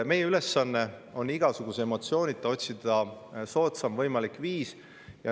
Meie ülesanne on igasuguse emotsioonita otsida soodsaim võimalik viis.